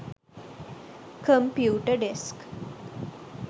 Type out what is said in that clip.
computer desk